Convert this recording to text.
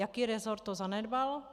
Jaký rezort to zanedbal?